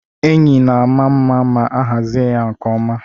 Enyi na-ama mma ma a hazie ya nke ọma.